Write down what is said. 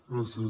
gràcies